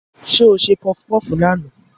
Ṣé o ṣe pọfupọ́fù lánàá?